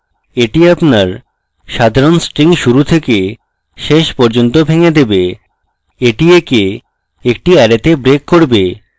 এটি আপনার সাধারণ string শুরু থেকে শেষ পর্যন্ত ভেঙ্গে দেবে এটি একে একটি অ্যারেতে break করবে